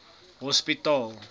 hospitaal